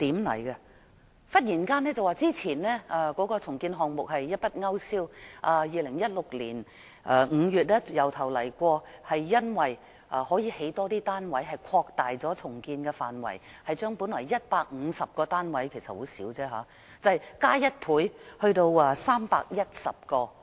市建局忽然把之前提出的重建項目一筆勾消，在2016年5月從頭開始，擴大重建範圍，因為可興建更多單位，把本來150個單位——其實也是很少——增加1倍，達310個。